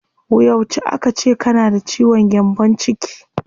Yauce aka ce kana da ciwon gyambon ciki?